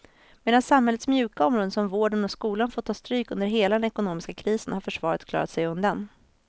Medan samhällets mjuka områden som vården och skolan fått ta stryk under hela den ekonomiska krisen har försvaret klarat sig undan.